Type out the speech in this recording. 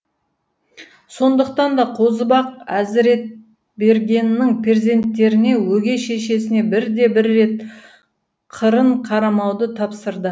сондықтан да қозыбақ әзіретбергеннің перзенттеріне өгей шешесіне бірде бір рет қырын қарамауды тапсырды